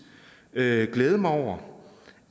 glæde glæde mig over